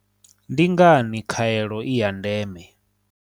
Ndi ngani khaelo i ya ndeme?